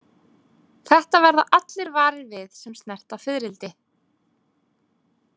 Þetta verða allir varir við sem snerta fiðrildi.